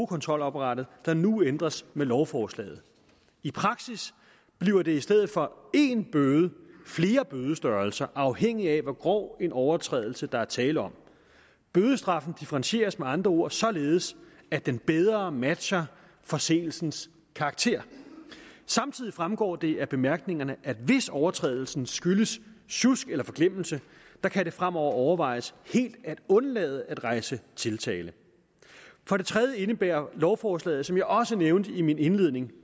kontrolapparatet der nu ændres med lovforslaget i praksis bliver der i stedet for én bøde tale flere bødestørrelser afhængig af hvor grov en overtrædelse der er tale om bødestraffen differentieres med andre ord således at den bedre matcher forseelsens karakter samtidig fremgår det af bemærkningerne at hvis overtrædelsen skyldes sjusk eller forglemmelse kan det fremover overvejes helt at undlade at rejse tiltale for det tredje indebærer lovforslaget som jeg også nævnte i min indledning